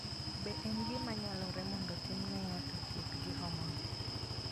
Be en gima nyalore mondo otimne ng'ato thieth gi hormone?